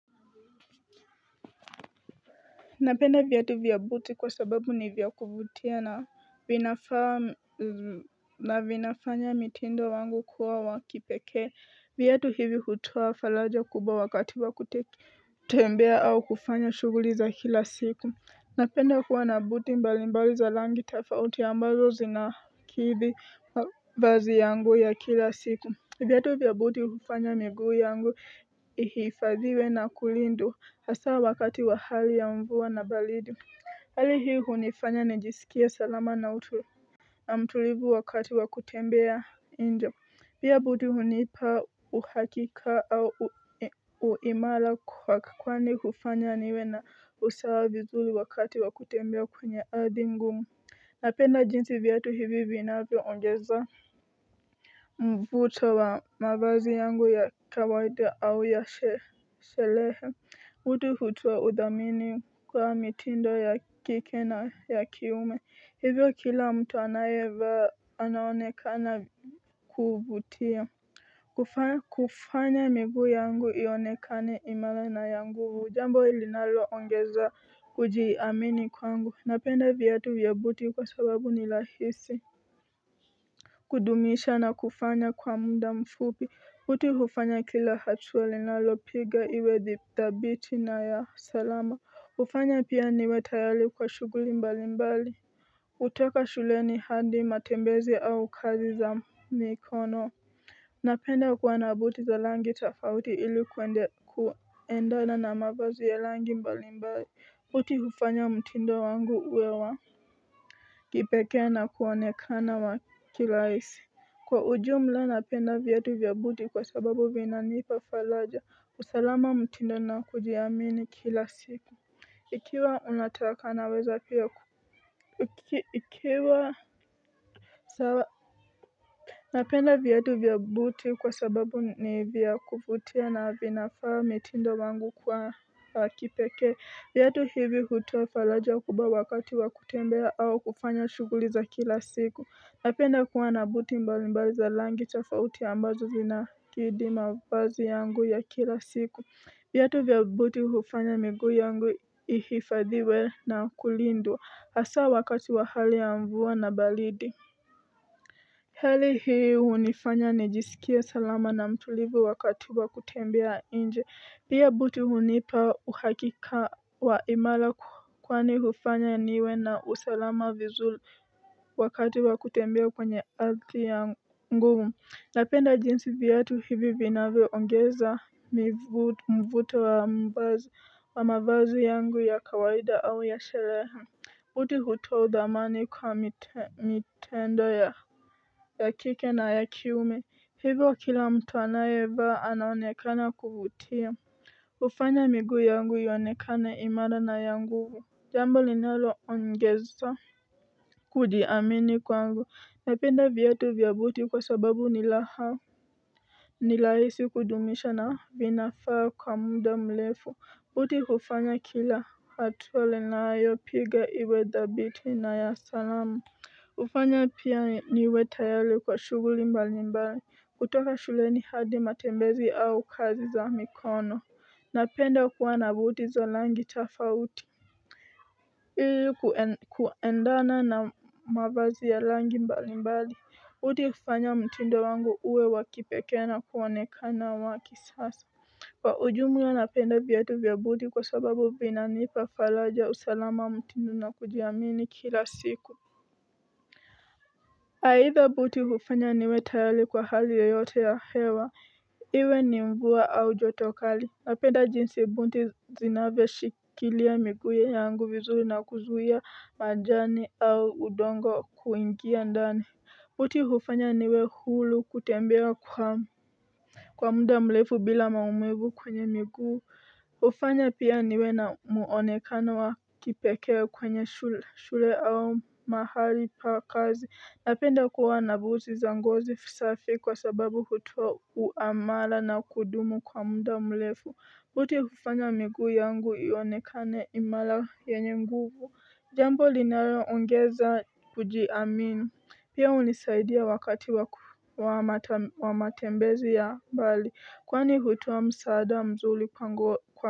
Napenda vyatu vya buti kwa sababu ni vya kuvutia na vinafaa na vinafanya mitindo wangu kuwa wa kipekee Viatu hivi hutoa faraja kubwa wakati wa kutembea au kufanya shughuli za kila siku. Napenda kuwa na buti mbalimbali za rangi tofauti ambazo zinakidhi mavazi yangu ya kila siku. Viatu vya buti hufanya miguu yangu ihifadhiwe na kulindwa hasaa wakati wa hali ya mvua na baridi. Hali hii hunifanya nijisikie salama na utu, na mtulivu wakati wa kutembea Pia buti hunipa uhakika au uimara kwani hufanya niwe na usawa vizuri wakati wa kutembea kwenye ardhi ngumu. Napenda jinsi viatu hivi vinavyoongeza mvuto wa mavazi yangu ya kawaida au ya sherehe. Buti hutoa udhamini kwa mitindo ya kike na ya kiume. Hivyo kila mtu anayevaa anaonekana kuvutia. Kuvaa kufanya miguu yangu ionekane imara na ya nguvu. Jambo linaloongeza kujiamini kwangu. Napenda viatu vya buti kwa sababu ni rahisi kudumisha na kufanya kwa muda mfupi. Uti hufanya kila hatua linalopiga iwe dhabiti na ya salama. Hufanya pia niwe tayari kwa shughuli mbalimbali. Hutoka shuleni hadi matembezi au kazi za mikono napenda kuwa na buti za rangi tofauti ili kuendana mavazi ya rangi mbalimbali. Buti hufanya mtindo wangu uwe wa kipekee na kuonekana wa kirahisi. Kwa ujumla napenda viatu vya buti kwa sababu vinanipa faraja, usalama, mtindo na kujiamini kila siku. Ikiwa unataka naweza pia ukiwa Napenda viatu vya buti kwa sababu ni vya kuvutia na vinafaa mitindo wangu kwa wa kipekee. Viatu hivi hutoa faraja kubwa wakati wa kutembea au kufanya shughuli za kila siku. Napenda kuwa na buti mbalimbali za rangi tofauti ambazo zinakidhi mavazi yangu ya kila siku. Vyatu vya buti hufanya miguu yangu ihifadhiwe na kulindwa. Hasaa wakati wa hali ya mvua na baridi. Hali hii hunifanya nijisikie salama na mtulivu wakati wa kutembea nje. Pia buti hunipa uhakika wa imara kwani hufanya niwe na usalama vizuri wakati wa kutembea kwenye ardhi yangu. Napenda jinsi viatu hivi vinavyoongeza mivuto mvuto wa mavazi yangu ya kawaida au ya shereha. Buti hutoa udhamani kwa mitendo ya kike na ya kiume. Hivyo kila mtu anayevaa anaonekana kuvutia hufanya miguu yangu ionekane imara na ya nguvu. Jambo linaloongeza kujiamini kwangu. Napenda viatu vya buti kwa sababu ni raha Nirahisi kudumisha na vinafaa kwa muda mrefu. Buti hufanya kila hatua ninayopiga iwe dhabiti na ya salama hufanya pia niwe tayari kwa shughuli mbalimbali. Kutoka shuleni hadi matembezi au kazi za mikono. Napenda kuwa na buti za rangi tofauti Ili kuendana na mavazi ya rangi mbalimbali. Buti kufanya mtinduo wangu uwe wa kipekee na kuonekana wa kisasa Kwa ujumla napenda viatu vya buti kwa sababu vinanipa faraja, usalama, mtindo na kujiamini kila siku. Aidha buti hufanya niwe tayari kwa hali yoyote ya hewa Iwe ni mvua au joto kali. Napenda jinsi buti zinavyoshikilia miguu yangu vizuri na kuzuia majani au udongo kuingia ndani Buti hufanya niwe huru, kutembea kwa muda mrefu bila maumivu kwenye miguu hufanya pia niwe na muonekana wa kipekee kwenye shule shule au mahali pa kazi. Napenda kuwa na buti za ngozi safi kwa sababu hutoa uamala na kudumu kwa muda mrefu. Buti kufanya miguu yangu ionekane imara yanye nguvu jambo linayoongeza kujiamini pia hunisaidia wakati wa matembezi ya mbali kwani hutoa msaada mzuri pangu, kwa.